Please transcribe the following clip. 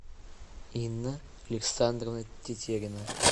инна александровна тетерина